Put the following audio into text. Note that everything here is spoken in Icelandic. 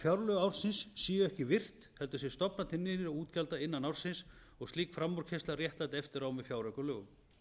fjárlög ársins séu ekki virt heldur sé stofnað til nýrra útgjalda innan ársins og slík framúrkeyrsla réttlætt eftirá með fjáraukalögum